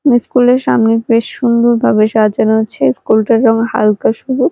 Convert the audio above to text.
school -এর সামনে বেশ সুন্দরভাবে সাজানো আছে ইস্কুল - টা যেমন হালকা শুধু--